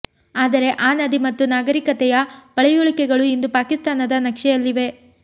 ಆದರೆ ಆ ನದಿ ಮತ್ತು ನಾಗರೀಕತೆಯ ಪಳೆಯುಳಿಕೆಗಳು ಇಂದು ಪಾಕಿಸ್ತಾನದ ನಕ್ಷೆಯಲ್ಲಿವೆ